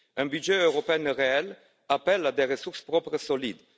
Un budget européen réel appelle des ressources propres solides.